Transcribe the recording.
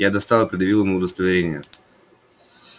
я достал и предъявил ему удостоверение